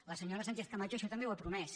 la senyora sánchez camacho això també ho ha promès